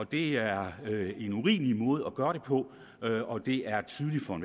det er en urimelig måde at gøre det på og det er